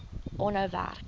aanhou werk